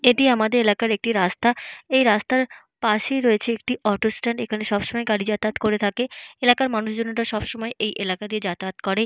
এটি আমাদের এলাকার একটি রাস্তা। এই রাস্তার পাশেই রয়েছে একটি অটো স্ট্যান্ড । এখানে সবসময় গাড়ি যাতায়াত করে থাকে। এলাকার মানুষজনের সবসময় এই এলাকা দিয়ে যাতায়াত করে।